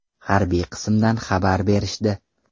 Harbiy qismdan xabar berishdi” .